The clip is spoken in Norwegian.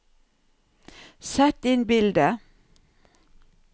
sett inn bilde